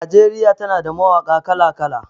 Najeriya tana da mawaƙa kala-kala.